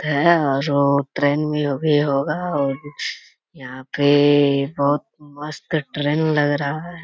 जो भी होगा और यहाँ पे बहुत मस्त ट्रेन लग रहा है।